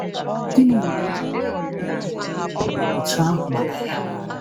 Gịnị mere e ji nwee arịrịọ dị otú ahụ maka ya?